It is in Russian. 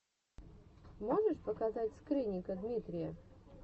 можешь показать скрынника дмитрия